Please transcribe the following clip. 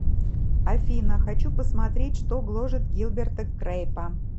афина хочу посмотреть что гложет гилберта крейпа